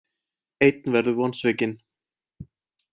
Einn verður vonsvikinn.